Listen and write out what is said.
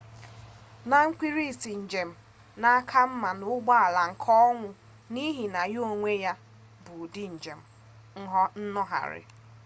na mkpirisi njem na aka mma n'ụgbọala nke onwe n'ihi na ya onwe ya bụ ụdị njem nnọgharị